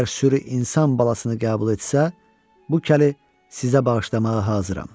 Əgər sürü insan balasını qəbul etsə, bu kəli sizə bağışlamağa hazıram.